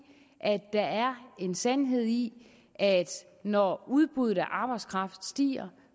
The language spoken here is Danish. der er en sandhed i at når udbuddet af arbejdskraft stiger